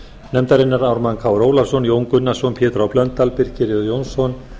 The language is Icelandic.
nefndarinnar ármann krónu ólafsson jón gunnarsson pétur h blöndal birkir j jónsson